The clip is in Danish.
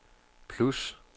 plus